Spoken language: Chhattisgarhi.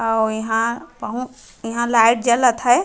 अउ इहा बहु इहा लाइट जलत हे।